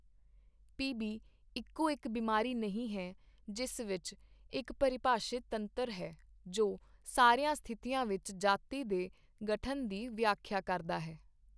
PB. ਇੱਕੋ ਇੱਕ ਬਿਮਾਰੀ ਨਹੀਂ ਹੈ ਜਿਸ ਵਿੱਚ ਇੱਕ ਪਰਿਭਾਸ਼ਿਤ ਤੰਤਰ ਹੈ ਜੋ ਸਾਰੀਆਂ ਸਥਿਤੀਆਂ ਵਿੱਚ ਜਾਤੀ ਦੇ ਗਠਨ ਦੀ ਵਿਆਖਿਆ ਕਰਦਾ ਹੈ।